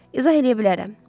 İzah eləyə bilərəm.